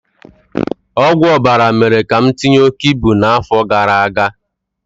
Ọgwụ ọbara mere ka m tinye oke ibu n'afọ gara aga